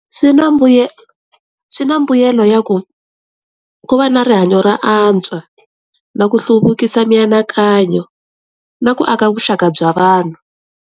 Swi na swi na mbuyelo ya ku ku va na rihanyo ro antswa na ku hluvukisa mianakanyo na ku aka vuxaka bya vanhu.